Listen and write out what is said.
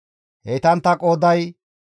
Heytantta qooday 45,650.